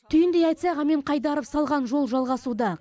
түйіндей айтсақ әмен қайдаров салған жол жалғасуда